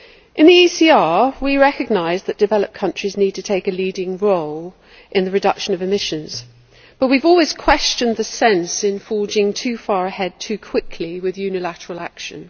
In the ECR, we recognise that developed countries need to take a leading role in the reduction of emissions, but we have always questioned the sense of forging too far ahead too quickly with unilateral action.